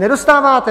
Nedostáváte!